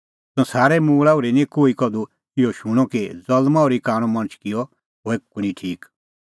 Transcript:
संसारे उत्पति ओर्ही निं कोही कधू इहअ शूणअ कि ज़ल्मां ओर्ही कांणअ मणछ किअ होए कुंणी ठीक